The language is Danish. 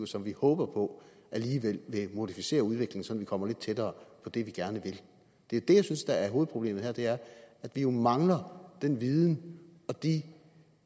som vi håber på alligevel vil modificere udviklingen sådan kommer lidt tættere på det vi gerne vil det er det jeg synes der er hovedproblemet her det er at vi jo mangler den viden og de